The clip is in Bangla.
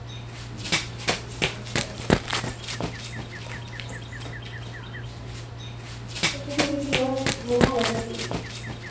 আচ্ছা আচ্ছা তুমি কি এবার ঘুমাবে নাকি?